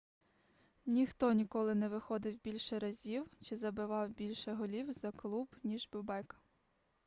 ніхто ніколи не виходив більше разів чи забивав більше голів за клуб ніж бобек